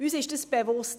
Das ist uns bewusst.